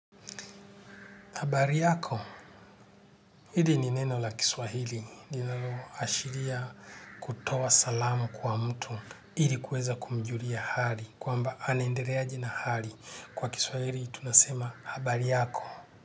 Habari yako. Hili ni neno la kiswahili. Linaloashiria kutoa salamu kwa mtu. Ili kuweza kumjulia hali. Kwamba anaendeleaji na hali. Kwa kiswahili tunasema habari yako.